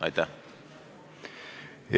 Aitäh!